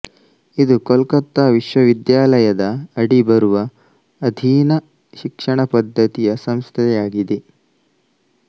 ಇದು ಕೊಲ್ಕತ್ತಾ ವಿಶ್ವವಿದ್ಯಾಲಯದ ಅಡಿ ಬರುವ ಅಧೀನ ಶಿಕ್ಷಣ ಪದ್ದತಿಯ ಸಂಸ್ಥೆಯಾಗಿದೆ